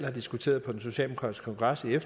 jeg som en